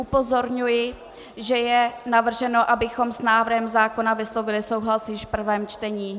Upozorňuji, že je navrženo, abychom s návrhem zákona vyslovili souhlas již v prvém čtení.